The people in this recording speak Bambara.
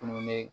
Dumuni